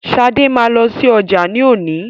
Sade ma lọsí ọjà ni òní.